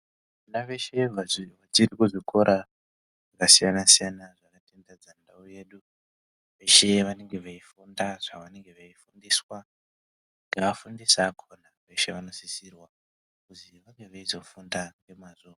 Vana veshe vari kuzvikora zvakasiyana-siyana zvakatenderedza ndau yedu, veshe vanenge veifunda zvavanenge veifundiswa nevafundisi vakona veshe vanosisirwa kuzi vange veizofunda ngemwazvo.